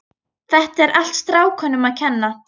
Þetta er allt strákunum að kenna.